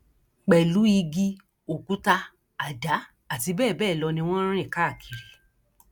pẹlú igi òkúta àdá àti bẹẹ bẹẹ lọ ni wọn ń rìn káàkiri